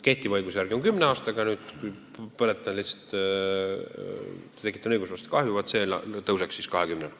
Kehtiva seaduse järgi kestab vastutus kümme aastat, vaat see aegumisaeg kasvaks 20 aastani.